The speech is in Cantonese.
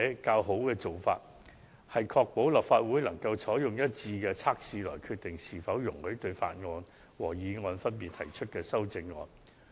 較佳做法為確保立法會能按劃一的準則決定是否容許分別對法案及議案提出修正案。